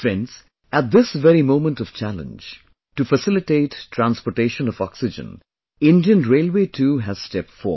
Friends, at this very moment of challenge, to facilitate transportation of oxygen, Indian Railway too has stepped forward